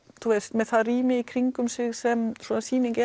með það rými í kringum sig sem svona sýning